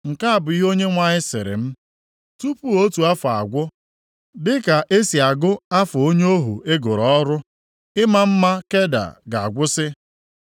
Nke a bụ ihe Onyenwe anyị sịrị m, “Tupu otu afọ agwụ, dị ka esi agụ afọ onye ohu e goro ọrụ, ịma mma Keda ga-agwụsị.